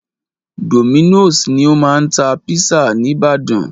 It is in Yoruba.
Dominos ni o máa ń tá pizza ní ìbàdàn.